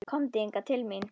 Komdu hingað til mín.